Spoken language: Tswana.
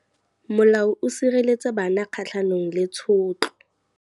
Molao o sireletsa bana kgatlhanong le tshotlo.